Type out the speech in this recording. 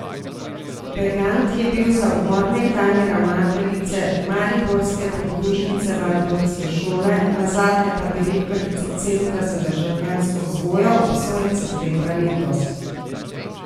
Begant je bil za umor nekdanje ravnateljice mariborske podružnice valdorfske šole, nazadnje pa direktorice Centra za državljansko vzgojo, obsojen septembra letos.